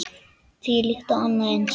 Þvílíkt og annað eins.